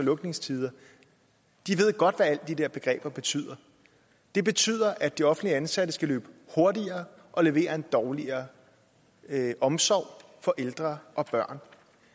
og lukketider ved godt hvad alle de der begreber betyder det betyder at de offentligt ansatte skal løbe hurtigere og levere en dårligere omsorg for ældre og børn